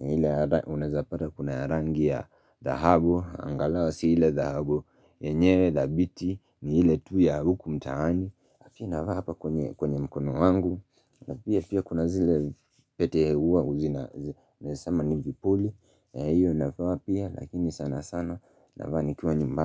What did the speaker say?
ile unazapata kuna rangi ya dhahabu, angalau si ile dhahabu yenyewe dhabiti ni ile tu ya huku mtaani na pia navaa hapa kwenye mkono wangu na pia kuna zile pete hua zina Naeza sema ni vipuli Iyo navaa pia lakini sana sana navaa nikiwa nyumbani.